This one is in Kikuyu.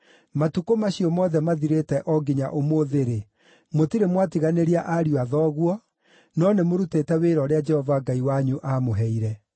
Matukũ macio mothe mathirĩte o nginya ũmũthĩ-rĩ, mũtirĩ mwatiganĩria ariũ a thoguo, no nĩmũrutĩte wĩra ũrĩa Jehova Ngai wanyu aamũheire.